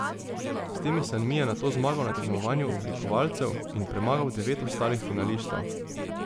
S temi sanmi je nato zmagal na tekmovanju oblikovalcev in premagal devet ostalih finalistov.